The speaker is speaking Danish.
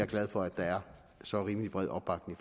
glad for at der er så rimelig bred opbakning